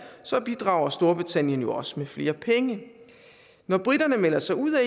bidrager storbritannien jo også med flere penge når briterne melder sig ud af